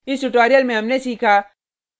इस tutorial में हमने सीखा